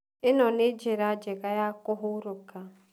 ĩno nĩ njĩra njega ya kũhurũka.